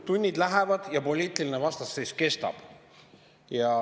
Tunnid lähevad ja poliitiline vastasseis kestab.